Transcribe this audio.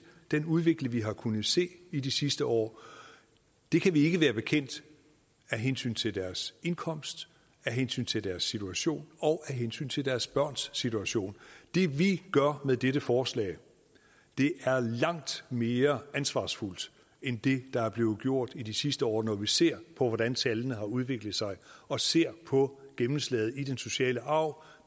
den udvikling vi har kunnet se i de sidste år det kan vi ikke være bekendt af hensyn til deres indkomst af hensyn til deres situation og af hensyn til deres børns situation det vi gør med dette forslag er langt mere ansvarsfuldt end det der er blevet gjort i de sidste år når vi ser på hvordan tallene har udviklet sig og ser på gennemslaget i den sociale arv